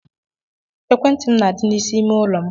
Ekwentị m na-adị n’isi ime ụlọ m